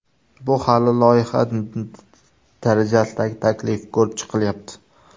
Bu hali loyiha darajasidagi taklif, ko‘rib chiqilyapti.